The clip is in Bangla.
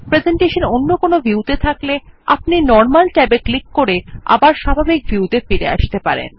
প্রেসেন্টেশন অন্য কোনো view ত়ে থাকলে আপনি নরমাল ট্যাবে ক্লিক করে আবার স্বাভাবিক ভিউ ত়ে ফিরে আসতে পারেন